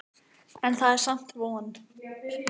En það er samt von.